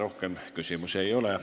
Rohkem küsimusi ei ole.